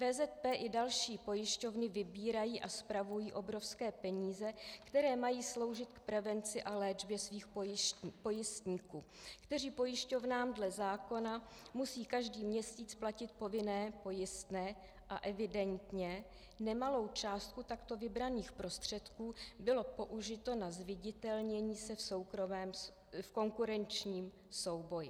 VZP i další pojišťovny vybírají a spravují obrovské peníze, které mají sloužit k prevenci a léčbě svých pojistníků, kteří pojišťovnám dle zákona musí každý měsíc platit povinné pojistné, a evidentně nemalá částka takto vybraných prostředků byla použita na zviditelnění se v konkurenčním souboji.